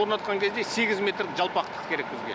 орнатқан кезде сегіз метр жалпақтық керек бізге